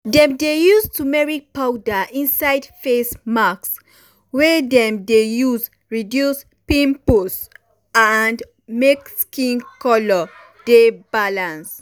dem dey use turmeric powder um inside face mask wey dem dey use reduce pimples and make skin color dey balance.